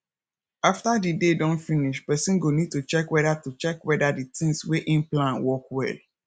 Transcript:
after di day don finish person go need to check weda to check weda di things wey im plan work well